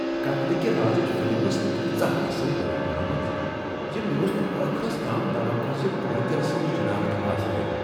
قتلہٕ کہ رازٕچ فلم ٲس تیٖژاہ اصل بناونہٕ آمٕژ زِ مےٚ ٲس نہٕ ٲخرس تام توقع زِ قٲتل سٕنٛز شناخت آسہِ یہِ۔